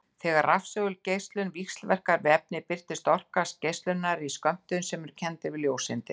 Þegar rafsegulgeislun víxlverkar við efni birtist orka geislunarinnar í skömmtum sem eru kenndir við ljóseindir.